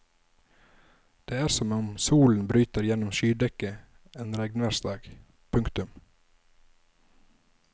Det er som om solen bryter igjennom skydekket en regnværsdag. punktum